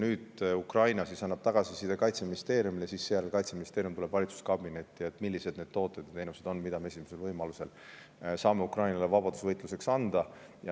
Nüüd Ukraina annab tagasisidet Kaitseministeeriumile ja seejärel Kaitseministeerium tuleb valitsuskabinetti ja annab teada, millised need tooted ja teenused on, mida me esimesel võimalusel saame Ukrainale vabadusvõitluseks anda.